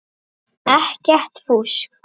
Ekkert fúsk.